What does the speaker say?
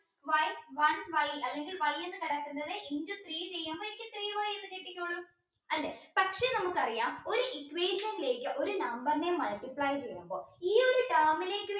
y one y അല്ലെങ്കിൽ Y എന് കിടക്കുന്നത് into three ചെയ്യുമ്പോ എനിക്ക് three y കിട്ടിക്കോളും അല്ലെ പക്ഷെ നമുക്കറിയാം ഒരു equation ലേക്കോ ഒരു number നെ multiply ചെയ്യുമ്പോ ഈ ഒരു